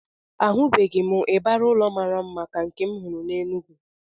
Ahụbeghị m ịbarị ụlọ mara mma ka nke m hụrụ n'Enugu